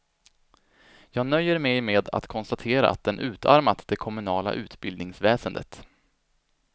Jag nöjer mig med att konstatera att den utarmat det kommunala utbildningsväsendet.